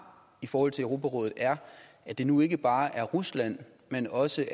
i forhold til europarådet er at det nu ikke bare er rusland men også